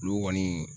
Olu kɔni